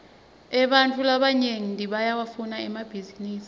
ebantfu labanyenti bayawafuna emabhisinisi